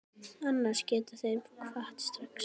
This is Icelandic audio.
Annars geta þeir kvatt strax.